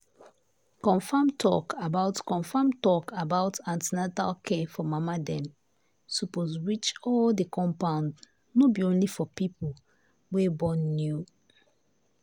confam talk about confam talk about an ten atal care for mama dem suppose reach all the compound no be only for people wey born new.